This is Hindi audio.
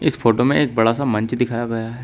इस फोटो में एक बड़ा सा मंच दिखाया गया है।